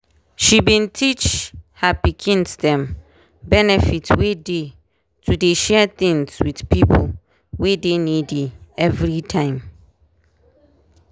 she bin teach her pikins dem benefit wey dey to dey share things with pipo wey dey needy everytime.